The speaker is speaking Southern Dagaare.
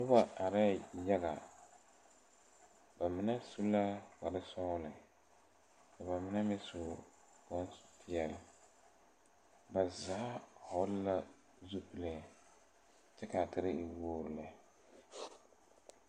Nobɔ areɛɛ yaga ba mine eŋɛɛ kparesɔglɔ ka ba mine meŋ su bonpeɛɛle ba zaa vɔgle la zupile kyɛ kaa tire e wogre lɛ.